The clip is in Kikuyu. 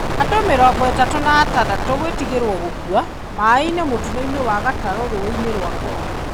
Andũ mĩrongo ĩtatũ na atandatũ gwĩtigerwo gũkua maaĩ-inĩ motino-inĩ wa gatarũ rũũĩ-inĩ rwa Congo.